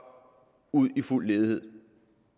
ud i fuld ledighed